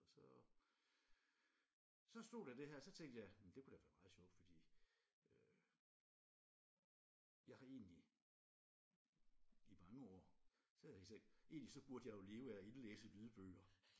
Og så så stod der det her og så tænkte jeg det kunne da være meget sjovt fordi øh jeg har egentlig i mange år så har jeg tænkt egentlig så burde jeg jo leve af at indlæse lydbøger